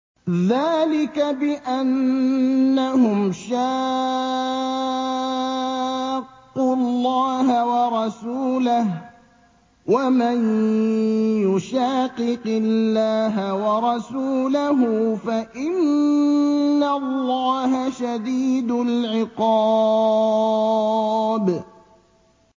ذَٰلِكَ بِأَنَّهُمْ شَاقُّوا اللَّهَ وَرَسُولَهُ ۚ وَمَن يُشَاقِقِ اللَّهَ وَرَسُولَهُ فَإِنَّ اللَّهَ شَدِيدُ الْعِقَابِ